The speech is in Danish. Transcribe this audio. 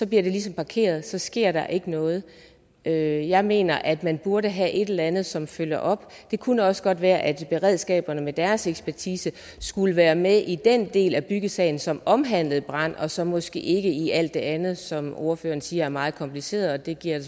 det ligesom parkeret så sker der ikke noget jeg jeg mener at man burde have et eller andet som følger op det kunne også godt være at beredskaberne med deres ekspertise skulle være med i den del af byggesagen som omhandlede brand og så måske ikke i alt det andet som ordføreren siger er meget kompliceret og det giver jeg